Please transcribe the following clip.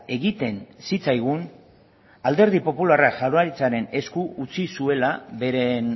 egiten zitzaigun alderdi popularra jaurlaritzaren esku utzi zuela beren